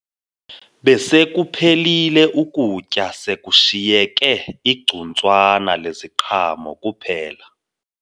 Besekuphelile ukutya sekushiyeke igcuntswana leziqhamo kuphela